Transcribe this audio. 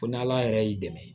Ko ni ala yɛrɛ y'i dɛmɛ